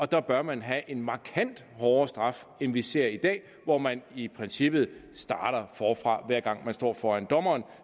der bør man have en markant hårdere straf end vi ser i dag hvor man i princippet starter forfra hver gang man står foran dommeren